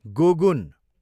गोगुन